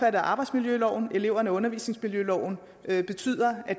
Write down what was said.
af arbejdsmiljøloven og eleverne undervisningsmiljøloven betyder at